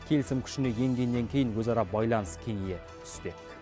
келісім күшіне енгеннен кейін өзара байланыс кеңейе түспек